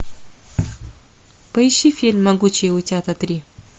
поищи фильм могучие утята три